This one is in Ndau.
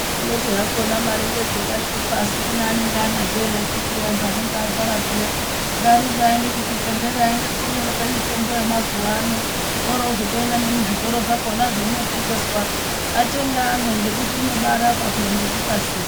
Kungoti hakona mari ngedzinoshupa asi kune anenge anadzo ere akhiti antu anonga arwara zviya ngarumbe aende kuzvibhedhlerayo aende kunyorerwa mitombo yamazuva ano, oro vazotoenda nemuzvitoro zvakona zveinotengeswa. Atenge amwe nekuti inobarapa nekukasira.